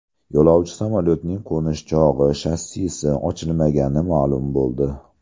Yo‘lovchi samolyotining qo‘nish chog‘i shassisi ochilmagani ma’lum bo‘ldi.